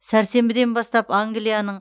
сәрсенбіден бастап англияның